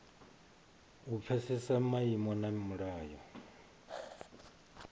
u pfesesa maimo na milayo